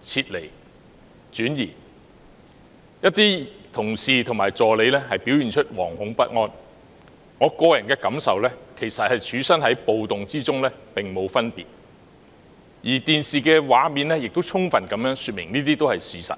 撤離，有些同事和助理表現得惶恐不安，我個人的感受是跟處身在暴動之中並無分別，而電視畫面亦充分說明了這一切都是事實。